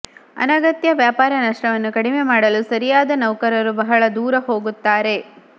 ಅನಗತ್ಯ ವ್ಯಾಪಾರ ನಷ್ಟವನ್ನು ಕಡಿಮೆ ಮಾಡಲು ಸರಿಯಾದ ನೌಕರರು ಬಹಳ ದೂರ ಹೋಗುತ್ತಾರೆ